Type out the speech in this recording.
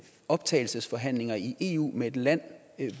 optagelsesforhandlinger i eu med et land